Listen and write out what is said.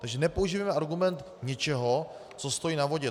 Takže nepoužívejme argument něčeho, co stojí na vodě.